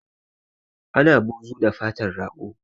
Ana buzu da fatar rago